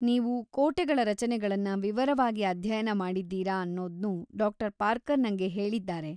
ನೀವು ಕೋಟೆಗಳ ರಚನೆಗಳನ್ನ ವಿವರವಾಗಿ ಅಧ್ಯಯನ ಮಾಡಿದ್ದೀರ ಅನ್ನೋದ್ನೂ ಡಾ. ಪಾರ್ಕರ್ ನಂಗೆ ಹೇಳಿದ್ದಾರೆ.